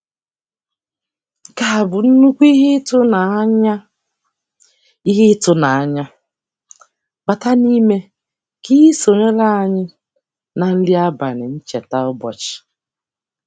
Nke a bụ nnukwu ihe ịtụnanya - ihe ịtụnanya - bata n'ime ka ị sonyere anyị na nri abalị ncheta ụbọchị.